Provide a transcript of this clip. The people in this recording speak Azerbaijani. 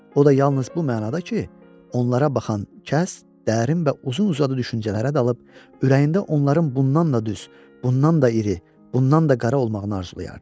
O da yalnız bu mənada ki, onlara baxan kəs dərin və uzun-uzadı düşüncələrə dalıb, ürəyində onların bundan da düz, bundan da iri, bundan da qara olmağını arzulayırdı.